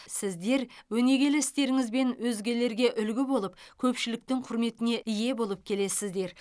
сіздер өнегелі істеріңізбен өзгелерге үлгі болып көпшіліктің құрметіне ие болып келесіздер